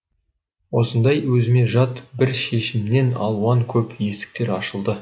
осындай өзіме жат бір шешімнен алуан көп есіктер ашылды